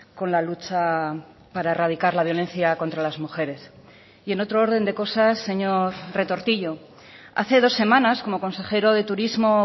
con la lucha para erradicar la violencia contra las mujeres y en otro orden de cosas señor retortillo hace dos semanas como consejero de turismo